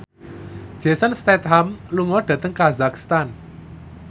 Jason Statham lunga dhateng kazakhstan